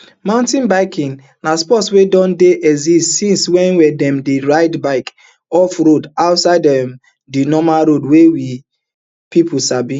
mountain biking na sport wey don dey exist since wen dem dey ride bicycles off road outside um di normal roads wey pipo sabi